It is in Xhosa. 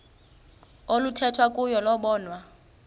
oluthethwa kuyo lobonwa